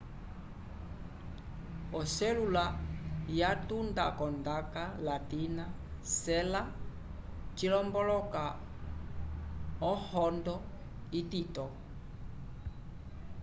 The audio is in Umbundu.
oselula yatunda k'ondaka latina sella cilomboloka ohondo itito